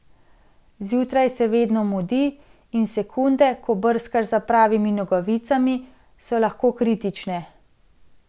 Zjutraj se vedno mudi, in sekunde, ko brskaš za pravimi nogavicami, so lahko kritične.